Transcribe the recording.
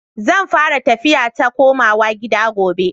Zan fara tafiya ta komawa gida gobe.